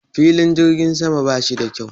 Filin jirgin sama ba shi da kyau